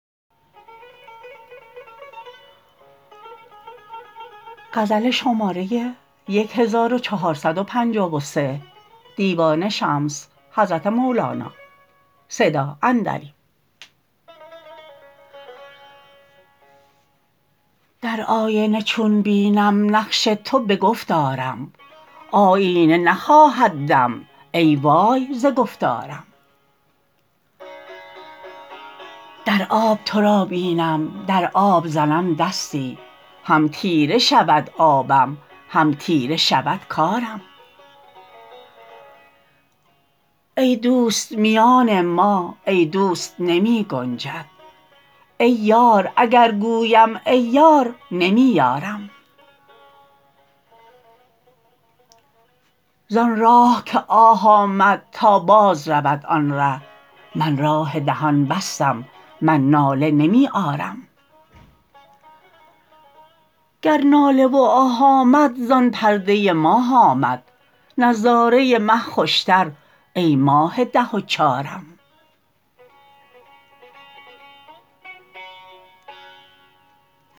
در آینه چون بینم نقش تو به گفت آرم آیینه نخواهد دم ای وای ز گفتارم در آب تو را بینم در آب زنم دستی هم تیره شود آبم هم تیره شود کارم ای دوست میان ما ای دوست نمی گنجد ای یار اگر گویم ای یار نمی یارم زان راه که آه آمد تا باز رود آن ره من راه دهان بستم من ناله نمی آرم گر ناله و آه آمد زان پرده ماه آمد نظاره مه خوشتر ای ماه ده و چارم